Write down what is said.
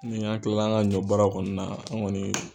Ni an kilala an ka ɲɔnbaaraw kɔni na an kɔni